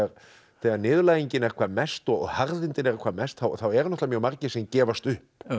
þegar niðurlægingin er hvað mest og harðindin eru hvað mest þá eru náttúrulega mjög margir sem gefast upp en